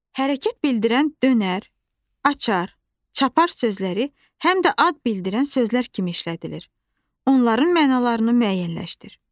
Hərəkət bildirən dönər, açar, çapar sözləri həm də ad bildirən sözlər kimi işlədilir, onların mənalarını müəyyənləşdirin.